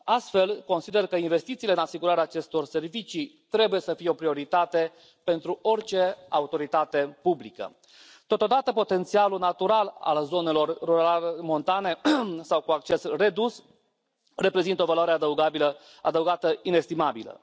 Astfel, consider că investițiile în asigurarea acestor servicii trebuie să fie o prioritate pentru orice autoritate publică. Totodată, potențialul natural al zonelor rurale montane sau cu acces redus reprezintă o valoare adăugată inestimabilă.